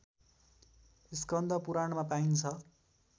स्कन्द पुराणमा पाइन्छ